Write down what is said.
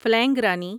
فلینگ رانی